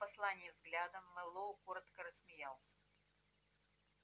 окинув послание взглядом мэллоу коротко рассмеялся